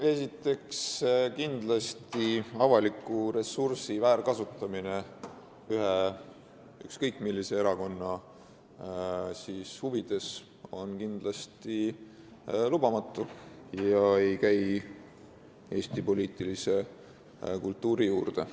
Esiteks, avaliku ressursi väärkasutamine ükskõik millise erakonna huvides on kindlasti lubamatu ja ei käi Eesti poliitilise kultuuri juurde.